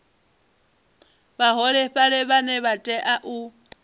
vhaholefhali vhane vha tea u